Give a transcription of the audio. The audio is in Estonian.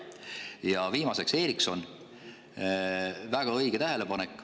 Ja viimaseks: Ericsson, väga õige tähelepanek ...